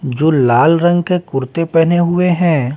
जो लाल रंग का कुर्ते पहने हुए हैं।